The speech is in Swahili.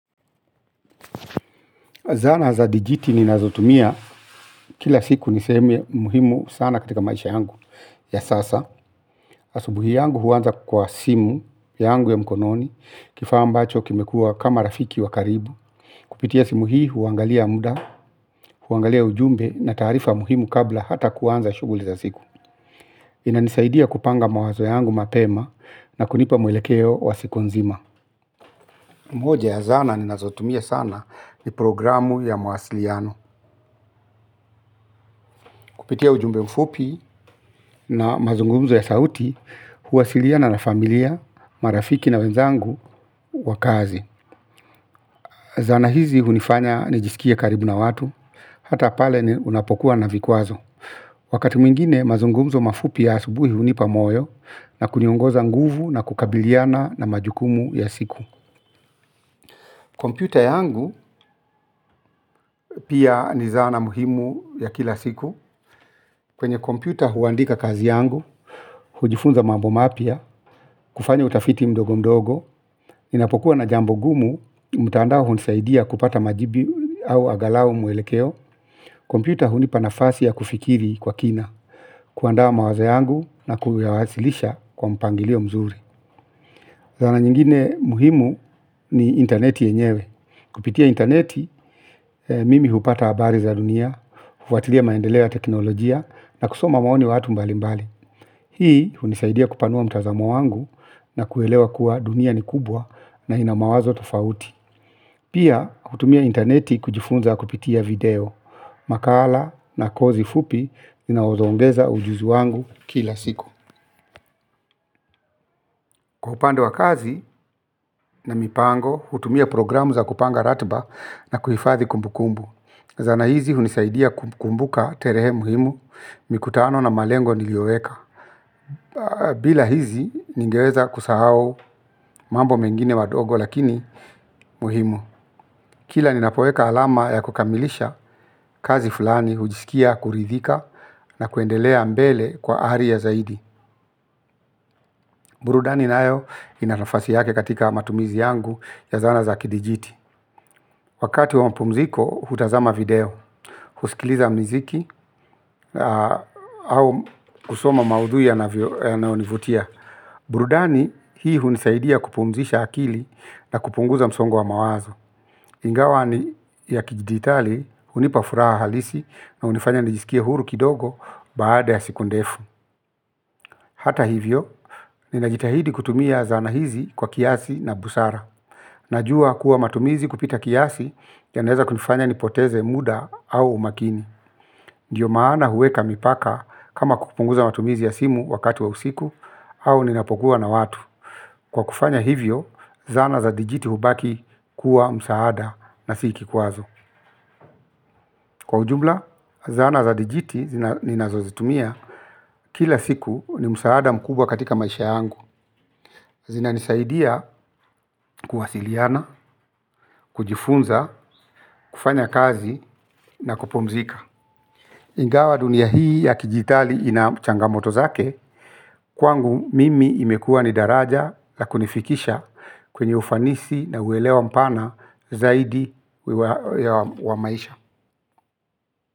Zana za dijiti ninazotumia kila siku niseme muhimu sana katika maisha yangu ya sasa. Asubuhi yangu huanza kwa simu yangu ya mkononi, kifaa ambacho kimekuwa kama rafiki wa karibu. Kupitia simu hii huangalia muda, huangalia ujumbe na tarifa muhimu kabla hata kuanza shughuli za siku. Inanisaidia kupanga mawazo yangu mapema na kunipa mwelekeo wa siku nzima. Moja ya zana ninazotumia sana ni programu ya mawasiliano. Kupitia ujumbe mfupi na mazungumzo ya sauti huwasiliana na familia, marafiki na wenzangu wa kazi. Zana hizi hunifanya nijisikie karibu na watu hata pale unapokuwa na vikwazo. Wakati mwingine mazungumzo mafupi ya asubuhi hunipa moyo na kuniongoza nguvu na kukabiliana na majukumu ya siku. Kompyuta yangu pia ni zana muhimu ya kila siku. Kwenye kompyuta huandika kazi yangu, hujifunza mambo mapya, kufanya utafiti mdogo mdogo, ninapokuwa na jambo gumu, mtandao hunisaidia kupata majibu au angalau mwelekeo, kompyuta hunipa nafasi ya kufikiri kwa kina, kuandaa mawazo yangu na kuyawawasilisha kwa mpangilio mzuri. Zana nyingine muhimu ni interneti yenyewe. Kupitia interneti, mimi hupata habari za dunia, hufuatilia maendeleo ya teknolojia na kusoma maoni watu mbali mbali. Hii hunisaidia kupanua mtazamo wangu na kuelewa kuwa dunia ni kubwa na ina mawazo tofauti. Pia hutumia interneti kujifunza kupitia video, makala na kozi fupi zinazoongeza ujuzi wangu kila siku. Kwa upande wa kazi na mipango hutumia programu za kupanga ratiba na kuhifadhi kumbukumbu. Zana hizi hunisaidia kukumbuka tarehe muhimu mikutano na malengo niliyoweka. Bila hizi ningeweza kusahau mambo mengine madogo lakini muhimu. Kila ninapoeka alama ya kukamilisha kazi fulani hujisikia kuridhika na kuendelea mbele kwa ari ya zaidi. Burudani nayo ina nafasi yake katika matumizi yangu ya zana za kidijiti wakati wa mapumziko hutazama video huskiliza miziki au kusoma maudhui yanayonivutia. Burudani hii hunisaidia kupumzisha akili na kupunguza msongo wa mawazo. Ingawa ni ya kijiditali hunipa furaha halisi na hunifanya nijisikie huru kidogo baada ya siku ndefu. Hata hivyo, ninajitahidi kutumia zana hizi kwa kiasi na busara najua kuwa matumizi kupita kiasi yanaeza kunifanya nipoteze muda au umakini. Ndiyo maana huweka mipaka kama kupunguza matumizi ya simu wakati wa usiku au ninapokuwa na watu. Kwa kufanya hivyo, zana za dijiti hubaki kuwa msaada na si kikwazo. Kwa ujumla, zana za dijiti zina ninazozitumia kila siku ni msaada mkubwa katika maisha yangu. Zinanisaidia kuwasiliana, kujifunza, kufanya kazi na kupumzika. Ingawa dunia hii ya kidigitali ina changamoto zake, kwangu mimi imekuwa ni daraja la kunifikisha kwenye ufanisi na uwelewa mpana zaidi wa maisha.